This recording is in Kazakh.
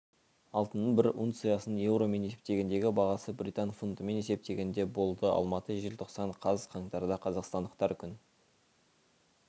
алтынның бір унциясының еуромен есептегендегі бағасы британ фунтымен есептегенде болды алматы желтоқсан қаз қаңтарда қазақстандықтар күн